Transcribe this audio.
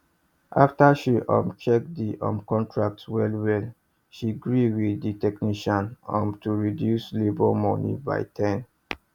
after she um check the um contract well well she gree with the technician um to reduce labour money by 10